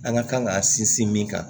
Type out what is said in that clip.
An ka kan k'a sinsin min kan